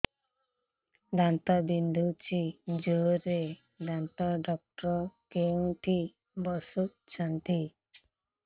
ଦାନ୍ତ ବିନ୍ଧୁଛି ଜୋରରେ ଦାନ୍ତ ଡକ୍ଟର କୋଉଠି ବସୁଛନ୍ତି